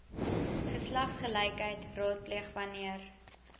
geslagsgelykheid raadpleeg wanneer